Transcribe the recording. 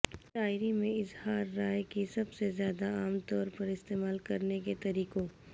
شاعری میں اظہار رائے کی سب سے زیادہ عام طور پر استعمال کرنے کے طریقوں